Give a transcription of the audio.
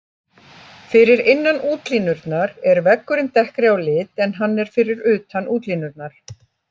Fyrir innan útlínurnar er veggurinn dekkri á lit en hann er fyrir utan útlínurnar.